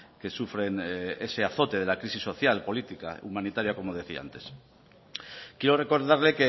que sufren ese azote de la crisis social política humanitaria como decía antes quiero recordarle